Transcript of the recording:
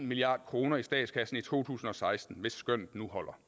milliard kroner i statskassen i to tusind og seksten hvis skønnet nu holder